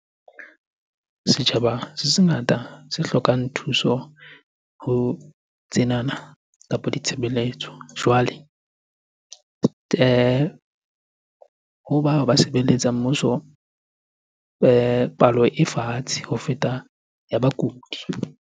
Setjhaba se sengata se hlokang thuso ho tsenana kapa ditshebeletso. Jwale ho bao ba sebeletsang mmuso, palo e fatshe ho feta ya bakudi.